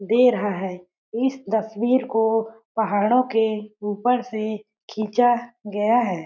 दे रहा है इस तस्वीर को पहाड़ों को ऊपर से खिंचा गया है।